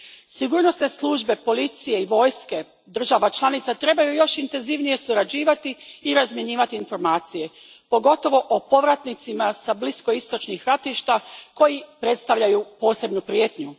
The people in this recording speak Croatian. Sigurnosne službe, policije i vojske država članica trebaju još intenzivnije surađivati i razmjenjivati informacije, pogotovo o povratnicima s bliskoistočnih ratišta koji predstavljaju posebnu prijetnju.